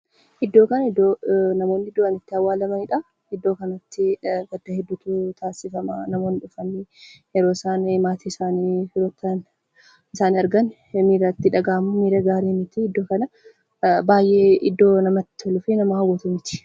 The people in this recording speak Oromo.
Iddoon kun iddoo namoonni du'an itti awwalamaniidha. Iddoo kanatti gadda hedduutu taasifama kan namoonni fira isaanii, maatii isaanii irratti argan miirri itti dhagahamu miira gaarii miti. Iddoo baay'ee namatti toluu fi nama gammachiisu miti.